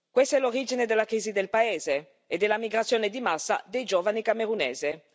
Questa è l'origine della crisi del paese e della migrazione di massa dei giovani camerunesi.